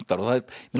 mig langar